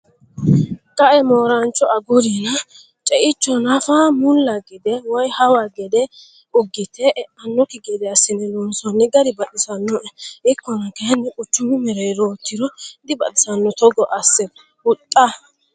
Qae moorancho agurinna ceicho nafa mulla gede woyi hawa gede ugite eanokki gede assine loonsonni gari baxisinoe ikkonna kayinni quchumu mereerotiro dibaxisano togo asse huxxa.